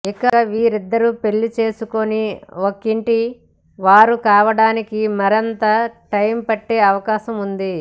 ఇక వీళ్లిద్దరు పెళ్లి చేసుకొని ఒకింటి వారు కావడానికి మరింత టైమ్ పట్టే అవకాశం ఉంది